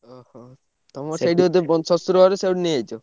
ଓହୋ! ତମର ଶଶୁର ଘର ସେଇଠୁ ନେଇ ଆଇଛ।